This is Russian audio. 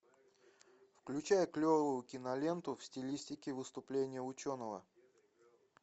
включай клевую киноленту в стилистике выступление ученого